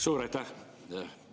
Suur aitäh!